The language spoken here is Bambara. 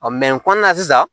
sisan